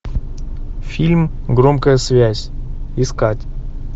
фильм громкая связь искать